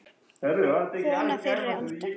Kona fyrri alda.